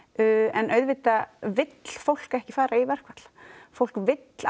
en auðvitað vill fólk ekki fara í verkfall fólk vill